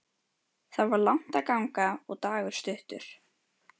Það var langt að ganga og dagur stuttur.